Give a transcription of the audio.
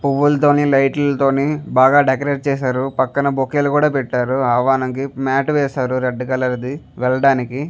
పూవులతోని light లతోనే బాగా decorate చేసారు పక్కన బొకేలు కూడా పెట్టారు మ్యాట్ వేశారు రెడ్ కలర్ ది వెల్డానికి .--